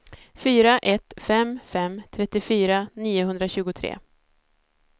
fyra ett fem fem trettiofyra niohundratjugotre